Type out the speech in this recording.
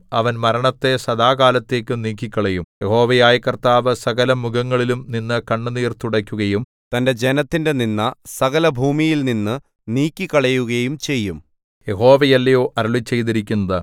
അവൻ മരണത്തെ സദാകാലത്തേക്കും നീക്കിക്കളയും യഹോവയായ കർത്താവ് സകലമുഖങ്ങളിലും നിന്നു കണ്ണുനീർ തുടയ്ക്കുകയും തന്റെ ജനത്തിന്റെ നിന്ദ സകലഭൂമിയിലുംനിന്നു നീക്കിക്കളയുകയും ചെയ്യും യഹോവയല്ലയോ അരുളിച്ചെയ്തിരിക്കുന്നത്